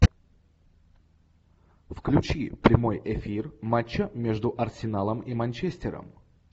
включи прямой эфир матча между арсеналом и манчестером